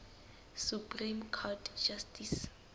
supreme court justice